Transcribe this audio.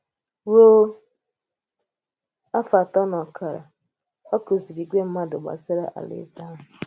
Rùo afọ́ atọ̀ na ọkara, ọ kụzìrì ìgwè mmádù̀ gbasara Àláèzè àhụ̀.